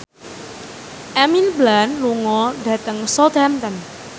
Emily Blunt lunga dhateng Southampton